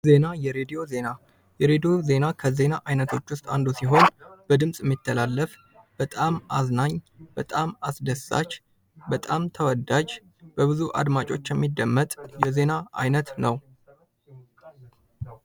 ዜና የሬድዮ ዜና፦ ከዜና አይነቶች ውስጥ አንዱ ሲሆን በድምፅ የሚተላለፍ በጣም አዝናኝ በጣም አስደሳች በጣም ተወዳጅ በብዙ አድማጮች የሚደመጥ የዜና አይነት ነው።